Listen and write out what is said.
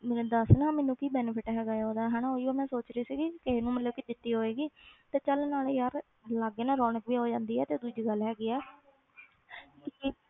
ਮੈਨੂੰ ਦੱਸ ਨਾ ਮੈਨੂੰ ਕੀ benefit ਹੈਗਾ ਆ ਉਹਦਾ ਹਨਾ ਉਹੀਓ ਮੈਂ ਸੋਚ ਰਹੀ ਸੀਗੀ ਕਿਸੇ ਨੂੰ ਮਤਲਬ ਕਿ ਦਿੱਤੀ ਹੋਏਗੀ ਤੇ ਚੱਲ ਨਾਲੇ ਯਾਰ ਲਾਗੇ ਨਾ ਰੌਣਕ ਵੀ ਹੋ ਜਾਂਦੀ ਹੈ ਤੇ ਦੂਜੀ ਗੱਲ ਹੈਗੀ ਹੈ ਵੀ